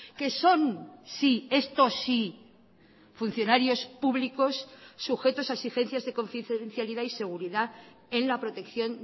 que son sí esto sí funcionarios públicos sujetos a exigencias de confidencialidad y seguridad en la protección